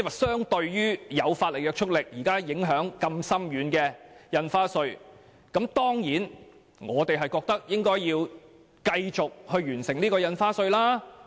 相對於現時有法律約束力且影響深遠的印花稅法案，我們當然認為應該要繼續完成《條例草案》的審議工作。